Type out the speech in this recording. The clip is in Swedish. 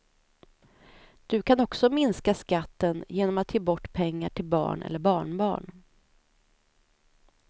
Du kan också minska skatten genom att ge bort pengar till barn eller barnbarn.